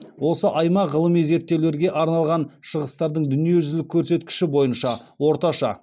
осы аймақ ғылыми зерттеулерге арналған шығыстардың дүниежүзілік көрсеткіші бойынша орташа